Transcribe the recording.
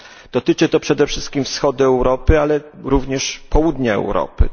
Dotyczy to przede wszystkim wschodu Europy, ale również południa Europy.